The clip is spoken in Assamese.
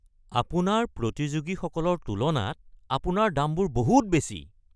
আপোনাৰ প্ৰতিযোগীসকলৰ তুলনাত আপোনাৰ দামবোৰ বহুত বেছি।